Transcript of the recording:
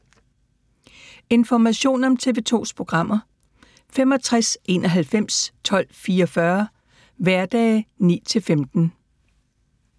Information om TV 2's programmer: 65 91 12 44, hverdage 9-15.